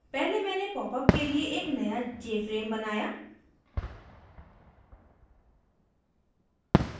पहले मैंने popup के लिए एक नया jframe बनाया